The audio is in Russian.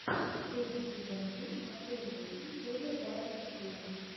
третий сезон фильм отцы и дети серия двадцать четыре